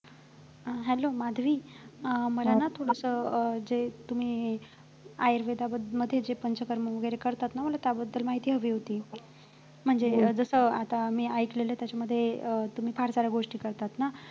hello Madhavi अं मला ना थोडसं अं जे तुम्ही आयुर्वेदामध्ये जे पंचकर्म वैगेरे करतात ना मला त्याबद्दल माहिती हवी होती म्हणजे जस आता मी ऐकलेले त्याच्यामध्ये अं तुम्ही फार साऱ्या गोष्टी करतात ना